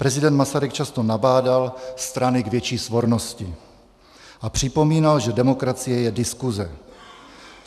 Prezident Masaryk často nabádal strany k větší svornosti a připomínal, že demokracie je diskuse.